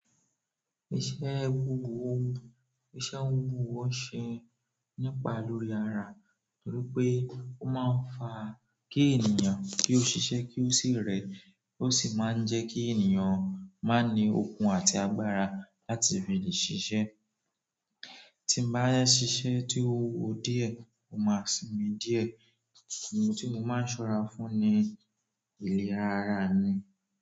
Iṣẹ́ wúwo, iṣẹ́ wúwo ṣe nípa lórí ara torí pé ó máa ń fa kí ènìyàn kí ó ṣiṣẹ́ kí ó sì rẹ, ó sì máa ń jẹ́ kí ènìyàn máa ní okun àti agbára láti fi lè ṣiṣẹ́. Tí n bá ṣiṣẹ́ tí ó wúwo díẹ̀, mo máa sinmi díẹ̀. Ni mo tí mo máa ń ṣọ́ra fún ni ìlera ara mi.